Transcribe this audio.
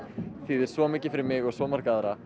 þýðir svo mikið fyrir mig og svo marga aðra